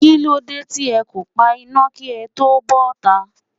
Kí ló dé tí ẹ kò pa iná kí ẹ tó bota?